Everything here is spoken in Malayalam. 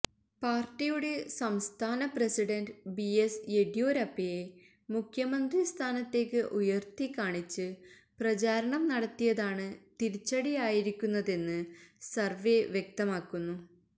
പാര്ട്ടിയുടെ സംസ്ഥാന പ്രസിഡന്റ് ബി എസ് യെദ്യൂരപ്പയെ മുഖ്യമന്ത്രി സ്ഥാനത്തേക്ക് ഉയര്ത്തിക്കാണിച്ച് പ്രചാരണം നടത്തിയതാണ് തിരിച്ചടിയായിരിക്കുന്നതെന്ന് സര്വേ വ്യക്തമാക്കുന്നു